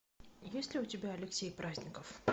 есть ли у тебя алексей праздников